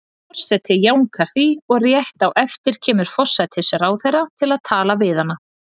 Forseti jánkar því, og rétt á eftir kemur forsætisráðherra til þess að tala við hana.